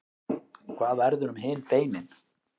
hvað verður um hin beinin